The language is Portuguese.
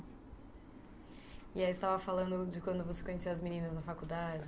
E aí, você estava falando de quando você conheceu as meninas na faculdade?